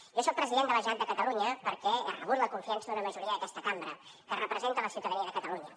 jo soc president de la generalitat de catalunya perquè he rebut la confiança d’una majoria d’aquesta cambra que representa la ciutadania de catalunya